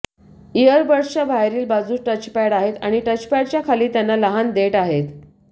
इअरबड्सच्या बाहेरील बाजूस टचपॅड आहेत आणि टचपॅडच्या खाली त्यांना लहान देठ आहेत